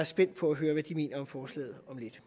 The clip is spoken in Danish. spændt på at høre hvad de mener om forslaget om lidt